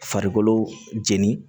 Farikolo jeni